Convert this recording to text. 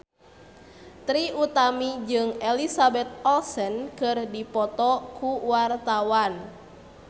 Trie Utami jeung Elizabeth Olsen keur dipoto ku wartawan